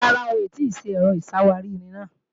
Rárá, wọn ò tì ṣe Ẹ̀rọ ìṣàwárí-irin náà